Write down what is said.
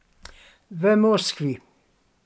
V Moskvi.